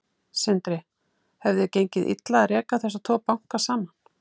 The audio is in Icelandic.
Sindri: Hefði gengið illa að reka þessa tvo banka saman?